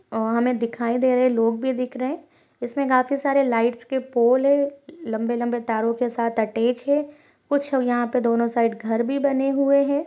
और हमें दिखाई दे रहे हैं। लोग भी दिख रहे इसमें काफी सारे लाइट्स के पोल है। लंबे लंबे तारों के साथ अटैच है। कुछ यहाँ पर दोनों साइड घर भी बने हुए हैं।